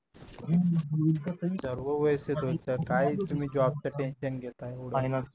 सर्व व्यवस्थित होईल सर काय तुम्ही job च tension घेताय एवढं